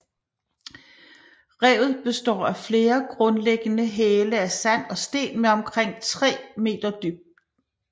Revet består af flere grundlæggende hæle af sand og sten med omkring 3 meter dyb